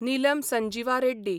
Nilam Sanjiva Reddy